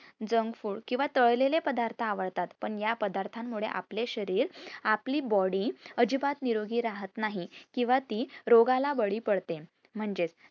junk food किंवा तळलेले पदार्थ आवडता, पण या पदार्था मुळे आपले शरीर आपली body अजीबात नोरोगी राहत नाही किंवा ती रोगाला बळी पडते म्हणजेच